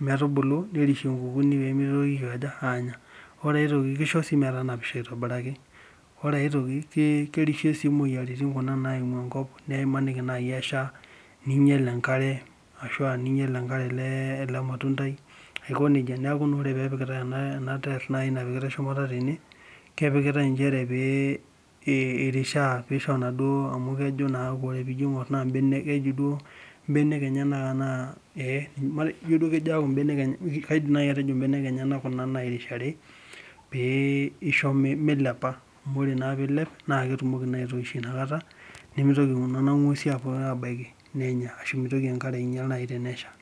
metubu nerishie inkukuni peemitoki aikaja, aanya ore sii ai toki naa kisho metanapisho aitobiraki ore ae toki naa kerishie sii imoyaritin kuna naimu enkop neimaniki nai esha neinyal enkare ashua neinyal enkare ele matundai aiko nejia neeku naa ore pee epikitai ena tairr ena napikitai shumata tene, kepikitai njere pee irishaa peisho naaduo amuu kejo naaku ore naa piijo aing'or naa imbenek keji duo imbenek enyena enaa eee ijo duo kaidim naai atejo imbenek enyena kuna nairishaari, pee isho milepa amuu ore naa piilep naa ketumoki naa ayoishuyu inakata nemeitoki naa nena ng'wesi abaiki nenya ashu meitoki ekare ainyal tenesha.